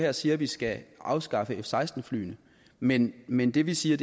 og siger at vi skal afskaffe f seksten flyene men men det vi siger